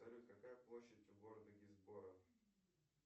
салют какая площадь у города гисборо